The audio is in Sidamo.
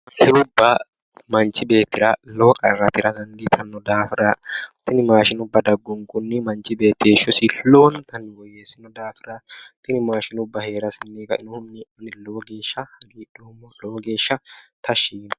Maashinubba manchi beettira lowo qarra tira dandiitannohura tini maashinubba daggunkunni manchi beetti heeshshosi lowontanni woyyeessino daafira tini maashinubba heerasenni ka"inohunni lowo geeshsha hagidhoommo lowo geeshsha tashshi yiino"e